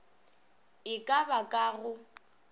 e ka ba ka go